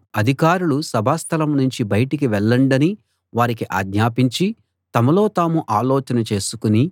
అధికారులు సభాస్థలం నుంచి బయటికి వెళ్ళండని వారికి ఆజ్ఞాపించి తమలో తాము ఆలోచన చేసుకుని